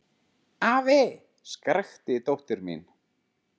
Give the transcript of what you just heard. Afi! skrækti dóttir mín.